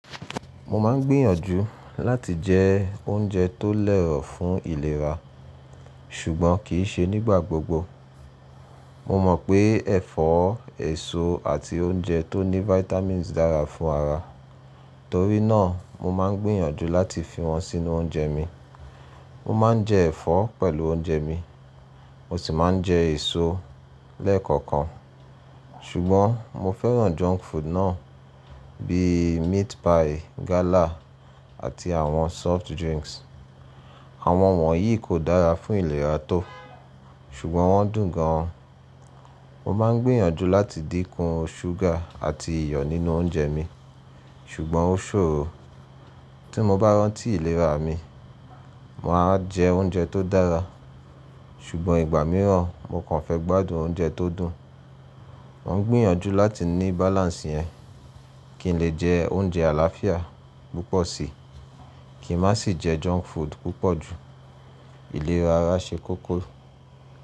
Mo máa ń gbìyànjú láti jẹ oúnjẹ tó lẹ̀ ọ́ fún ìlera, ṣùgbọ́n kì í ṣe nígbà gbogbo. Mo mọ̀ pé ẹ̀fọ́, èso àti oúnjẹ tó ní vitamins dára fún ara, torí náà mo máa ń gbìyànjú láti fi wọn sínú oúnjẹ mi. Mo máa ń jẹ ẹ̀fọ́ pẹ̀lú oúnjẹ mi, mo sì máa ń jẹ èso lẹ́ẹ̀kọ̀kan. Ṣùgbọ́n mo fẹ́ràn junk food náà bí i meat pie, gala àti àwọn soft drinks. Àwọn wọ̀nyí kò dára fún ìlera tó, ṣùgbọ́n wọ́n dùn gan an. Mo máa ń gbìyànjú láti dínkù ṣúgà àti iyọ̀ nínú oúnjẹ mi, ṣùgbọ́n ó ṣòro. Tí mo bá rántí ìlera mi, mà á jẹ oúnjẹ tó dára, ṣùgbọ́n ìgbà mìíràn mo kàn fẹ́ gbádùn oúnjẹ tó dùn. Mo ń gbìyànjú láti ní balance yẹn, kí n lè jẹ oúnjẹ àlàáfíà púpọ̀ síi, kí n má sì jẹ junk food púpọ̀ jú. Ìlera ara ṣe kókó.